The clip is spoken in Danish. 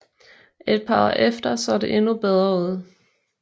Et par år efter så det endnu bedre ud